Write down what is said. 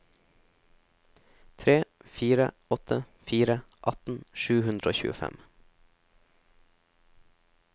tre fire åtte fire atten sju hundre og tjuefem